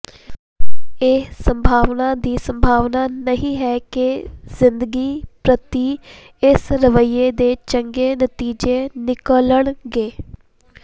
ਇਹ ਸੰਭਾਵਨਾ ਦੀ ਸੰਭਾਵਨਾ ਨਹੀਂ ਹੈ ਕਿ ਜ਼ਿੰਦਗੀ ਪ੍ਰਤੀ ਇਸ ਰਵੱਈਏ ਦੇ ਚੰਗੇ ਨਤੀਜੇ ਨਿਕਲਣਗੇ